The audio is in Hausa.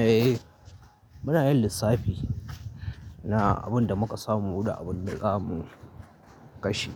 Eh, muna yin lissafi na abin da muka samu da abin da zamu kashe.